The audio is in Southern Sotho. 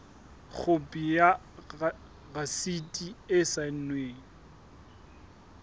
khopi ya rasiti e saennweng